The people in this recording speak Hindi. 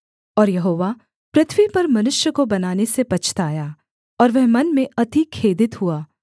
और यहोवा पृथ्वी पर मनुष्य को बनाने से पछताया और वह मन में अति खेदित हुआ